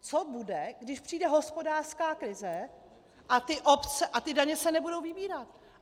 Co bude, když přijde hospodářská krize a ty daně se nebudou vybírat?